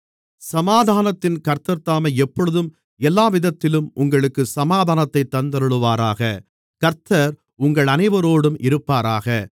சமாதானத்தின் கர்த்தர்தாமே எப்பொழுதும் எல்லாவிதத்திலும் உங்களுக்குச் சமாதானத்தைத் தந்தருளுவாராக கர்த்தர் உங்கள் அனைவரோடும் இருப்பாராக